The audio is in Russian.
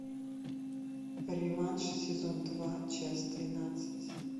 реванш сезон два часть двенадцать